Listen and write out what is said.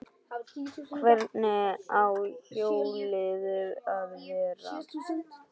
Hvernig á hjólið að vera?